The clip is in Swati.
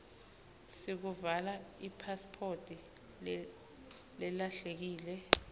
sekuvala ipasiphoti lelahlekile